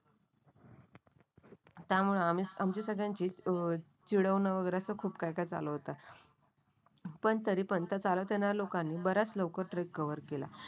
त्यामुळे आमची सगळ्यांची अ चिडवण वगैरे अस खूप काय काय चालू होतं. पण तरीपण ते चालत येणाऱ्या लोकांनी बऱ्याच लवकर ट्रेक कव्हर केला,